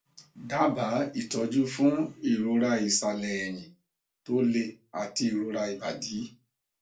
daba ìtọjú fún ìroraisale ẹyìn tó le àti ìrora ibadi